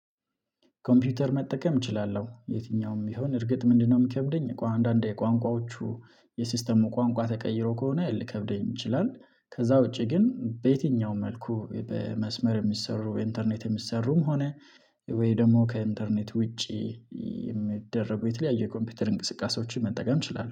ኮምፒውተር መጠቀም እችላለሁ የትኛውም ቢሆን እርግጥ ምንድነው? የሚከብደኝ ቋ አንዳንዴ ቋንቋዎቹ የሲስተሙ ቋንቋ ተቀይሮ ከሆነ ሊከብደኝ ይችላል። ከዛ ውጪ ግን በየትኛውም መልኩ በመስመር የሚሰሩ ኢንተርኔት የሚሰሩም ሆነ ወይ ደግሞ ከኢንተርኔት ውጪ የሚደረጉ የተለያዩ የኮምፒውተር እንቅስቃሴዎችን መጠቀም ትችላላችሁ